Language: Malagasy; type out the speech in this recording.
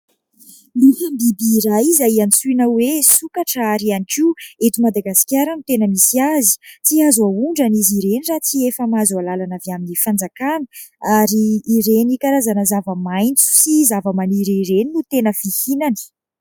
Misy biby iray izay antsoina hoe sokatra ary ihany koa eto Madagasikara no tena misy azy. Tsy azo aondrana izy ireny raha tsy efa mahazo halalana avy amin'ny fanjakana ary karazana zava-maitso sy zavamaniry ireny no tena fihinany.